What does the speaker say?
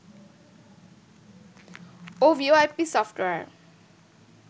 O VoIP software